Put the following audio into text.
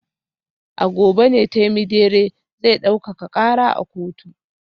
A gobe ne Temidire zai daukaka kara a kotu